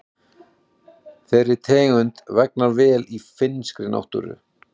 Þeirri tegund vegnar vel í finnskri náttúru.